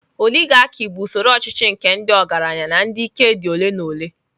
Oligarkị bụ usoro ọchịchị nke ndị ọgaranya na ndị ike dị ole na ole.